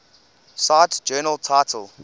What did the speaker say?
cite journal title